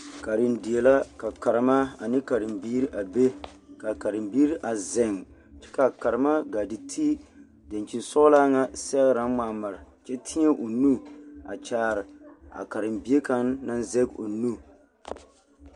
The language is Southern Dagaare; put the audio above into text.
Karendie la ka karema ane karembiiri be kaa karembiiri a zeŋ kyɛ kaa karema gaa te ti daŋkyinsɔglaa ŋa sɛgre naŋ ŋmaa mare kyɛ teɛ o nu a kyaare a karembie kaŋ naŋ zɛge o nu.